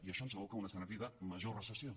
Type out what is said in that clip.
i això ens aboca a un escenari de major recessió